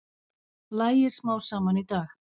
Lægir smám saman í dag